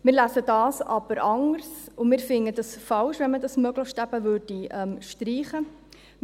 Wir lesen das aber anders, und wir finden es falsch, wenn man dieses «möglichst» eben streichen würde.